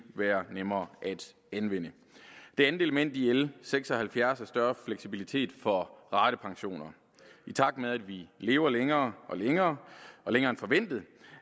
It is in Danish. være nemmere at anvende det andet element i l seks og halvfjerds er større fleksibilitet for ratepensioner i takt med at vi lever længere og længere længere end forventet